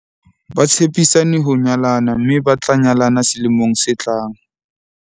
ba tshepisane ho nyalana mme ba tla nyalana selemong se tlang